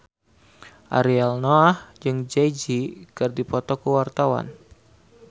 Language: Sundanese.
Ariel Noah jeung Jay Z keur dipoto ku wartawan